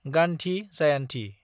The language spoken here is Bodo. गान्धी जायान्थि